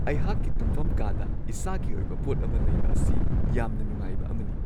ꯑꯩꯍꯥꯛꯀꯤ ꯇꯨꯝꯐꯝ ꯀꯥꯗ ꯏꯁꯥꯒꯤ ꯑꯣꯏꯕ ꯄꯣꯠ ꯑꯃ ꯂꯩꯕ ꯑꯁꯤ ꯌꯥꯝꯅ ꯅꯨꯡꯉꯥꯏꯕ ꯑꯃꯅꯤ ꯫